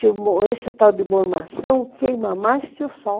Esse tal de mormação queima mais que o sol.